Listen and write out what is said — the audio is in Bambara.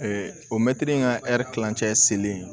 o mɛtiri in ka kilancɛ selen